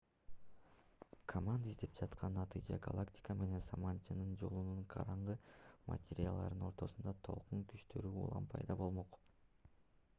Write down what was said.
команда издеп жаткан натыйжа галактика менен саманчынын жолунун караңгы материяларыны ортосундагы толкун күчтөрүнүн улам пайда болмок